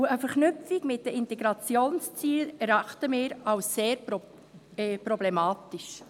Eine Verknüpfung mit den Integrationszielen erachten wir als sehr problematisch.